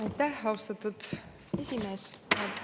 Aitäh, austatud esimees!